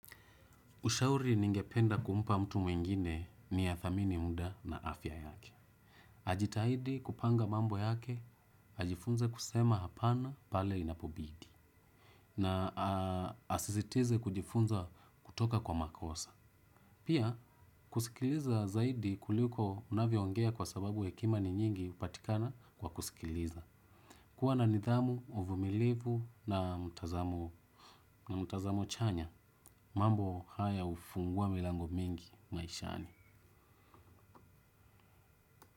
Ushauri ningependa kumpa mtu mwingine ni athamini muda na afya yake. Ajitahidi kupanga mambo yake, ajifunze kusema hapana pale inapobidi. Na asisitize kujifunza kutoka kwa makosa. Pia kusikiliza zaidi kuliko unavyoongea kwa sababu hekima ni nyingi hupatikana kwa kusikiliza. Kuwa na nidhamu, uvumilivu na mtazamo chanya, mambo haya hufungua milango mingi maishani.